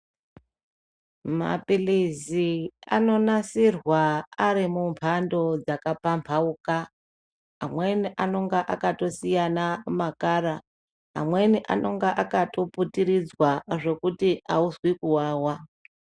Mapilizi anonasirwa ari mumbando dzakapambauka amweni anonga akatosiyana makara, amweni anonga akatoputiridzwa zvokuti auzwi kuwawa.